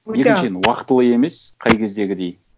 екіншіден уақытылы емес қай кездегідей